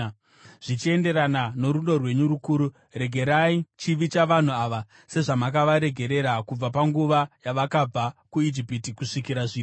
Zvichienderana norudo rwenyu rukuru, regererai chivi chavanhu ava, sezvamakavaregerera kubva panguva yavakabva kuIjipiti kusvikira zvino.”